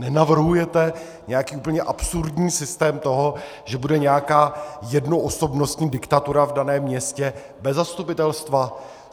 Nenavrhujete nějaký úplně absurdní systém toho, že bude nějaká jednoosobnostní diktatura v daném městě bez zastupitelstva?